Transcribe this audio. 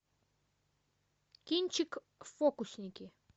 кинчик фокусники